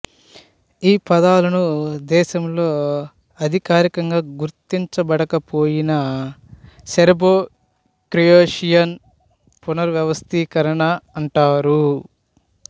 ఈ పదాలను దేశంలో అధికారికంగా గుర్తించబడకపోయినా సెర్బోక్రొయేషియన్ పునర్వ్యవస్థీకరణ అంటారు